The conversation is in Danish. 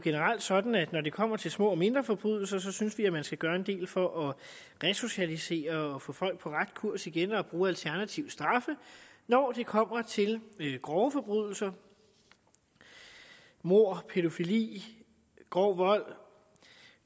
sådan at når det kommer til små og mindre forbrydelser synes vi at man skal gøre en del for at resocialisere og få folk på ret kurs igen og bruge alternativ straf når det kommer til grove forbrydelser mord pædofili grov vold